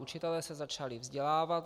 Učitelé se začali vzdělávat.